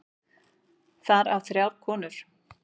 Þar af þrjár konur.